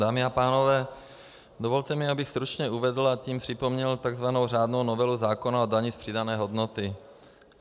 Dámy a pánové, dovolte mi, abych stručně uvedl, a tím připomněl takzvanou řádnou novelu zákona o dani z přidané hodnoty.